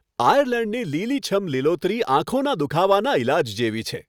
આયર્લેન્ડની લીલીછમ લીલોતરી આંખોનાં દુખાવાનાં ઈલાજ જેવી છે.